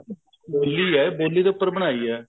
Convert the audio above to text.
ਬੋਲੀ ਹੈ ਬੋਲੀ ਦੇ ਉੱਪਰ ਬਣਾਈ ਹੈ